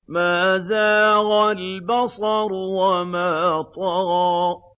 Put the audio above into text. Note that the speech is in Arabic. مَا زَاغَ الْبَصَرُ وَمَا طَغَىٰ